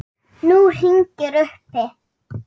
Nú hringir uppi.